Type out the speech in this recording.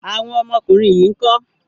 Awọn ọmọkùnrin yín ńkọ́?